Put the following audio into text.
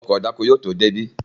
Ọkọ̀ ìdáko yóò tó débí